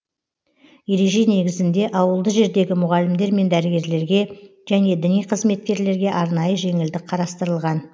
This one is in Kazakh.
ереже негізінде ауылды жердегі мұғалімдер мен дәрігерлерге және діни қызметкерлерге арнайы жеңілдік қарастырылған